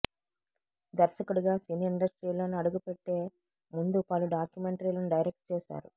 దర్శకుడిగా సినీ ఇండస్ట్రీలో అడుగుపెట్టే ముందు పలు డాక్యుమెంటరీలను డైరెక్ట్ చేసారు